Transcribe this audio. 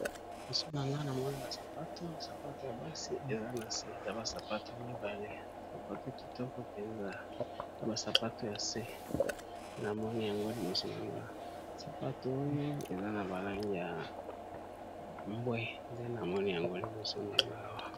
Liboso na nga na moni ba sapato, sapato ya basi eza na se. Eza ba sapato mibale sapato kitoko mpenza eza ba sapato ya se na moni yango liboso na nga, sapato oyo eza na ba langi ya mbwe nde na moni yango liboso na nga.